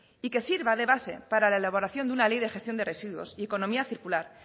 y que sirva de base para la elaboración de una ley de gestión de residuos y economía circular